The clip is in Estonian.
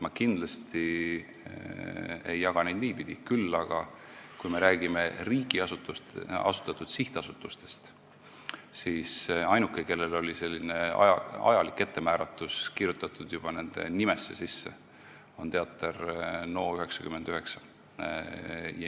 Ma kindlasti ei jaga neid niipidi, küll aga, kui me räägime riigi asutatud sihtasutustest, siis ainuke, kellel on selline ajaline ettemääratus olnud kirjutatud juba nimesse, on olnud Teater NO99.